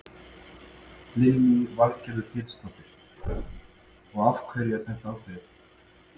Lillý Valgerður Pétursdóttir: Og af hverju var þetta ákveðið?